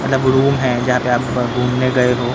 मतलब रूम है यहां पे आप घूमने गए हो।